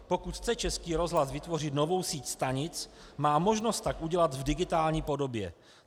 Pokud chce Český rozhlas vytvořit novou síť stanic, má možnost tak udělat v digitální podobě.